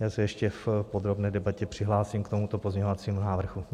Já se ještě v podrobné debatě přihlásím k tomuto pozměňovacímu návrhu.